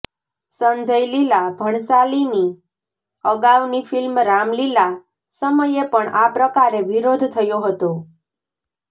સંજય લીલા ભણસાલીની અગાઉની ફિલ્મ રામલીલા સમયે પણ આ પ્રકારે વિરોધ થયો હતો